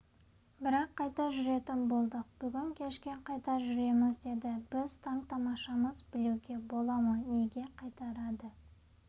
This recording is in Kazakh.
бірақ қайта жүретін болдық бүгін кешке қайта жүреміз деді біз таң-тамашамыз білуге бола ма неге қайтарады